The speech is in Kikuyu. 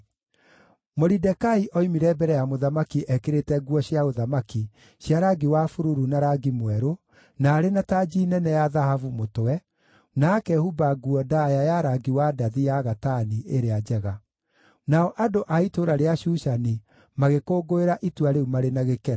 Moridekai oimire mbere ya mũthamaki ekĩrĩte nguo cia ũthamaki cia rangi wa bururu na rangi mwerũ, na arĩ na tanji nene ya thahabu mũtwe, na akehumba nguo ndaaya ya rangi wa ndathi ya gatani ĩrĩa njega. Nao andũ a itũũra rĩa Shushani magĩkũngũĩra itua rĩu marĩ na gĩkeno.